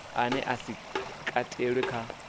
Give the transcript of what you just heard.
ane a si katelwe kha